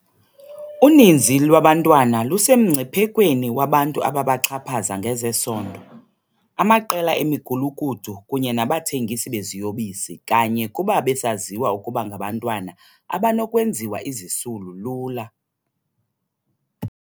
Uninzi lwabantwana lusemngciphekweni wabantu ababaxhaphaza ngezesondo, amaqela emigulukudu kunye nabathengisi beziyobisi kanye kuba besaziwa ukuba ngabantwana abanokwenziwa izisulu lula.